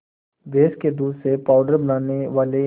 भैंस के दूध से पावडर बनाने वाले